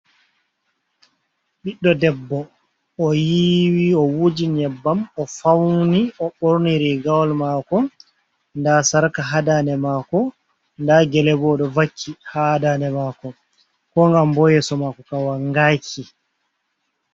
Biddo debbo o yiwi, o wuji nyebbam, o fauni, o borniri rigawol mako, da sarka ha daɗe mako, da gele bo oɗo vakki ha daɗe mako, ko gam bo yeso mako Kam wangaki.